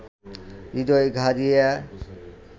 হৃদয়ে ঘা দিয়া